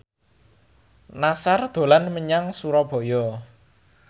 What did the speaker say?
Nassar dolan menyang Surabaya